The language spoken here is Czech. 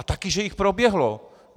A taky že jich proběhlo!